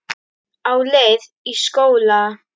Á leið í skóla.